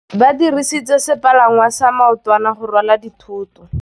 Ba dirisitse sepalangwasa maotwana go rwala dithôtô.